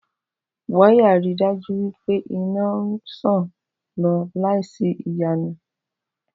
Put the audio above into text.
Wáyà ri dájú wí pé iná ń ṣàn lọ láì sí ìyọnu